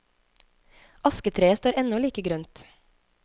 Asketreet står ennå like grønt.